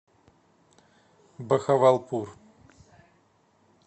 бахавалпур